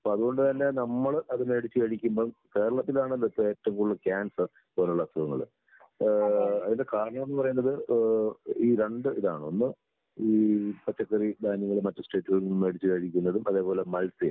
അപ്പൊ അതുകൊണ്ട് തന്നെ നമ്മള് അത് മേടിച്ച് കഴിക്കുമ്പോ, കേരളത്തിലാണല്ലോ ഇപ്പോ ഏറ്റവും കൂടുതൽ ക്യാൻസർ പോലുള്ള അസുഖങ്ങള് ഏഹ് അതിന്റെ കാരണോന്ന് പറയുന്നത് ഏഹ് ഈ രണ്ട് ഇതാണ് ഒന്ന് ഈ പച്ചക്കറി ധാന്യങ്ങള് മറ്റു സ്റ്റേറ്റുകളിൽ നിന്ന് മേടിച്ച് കഴിക്കുന്നതും അതേപോലെ മത്സ്യം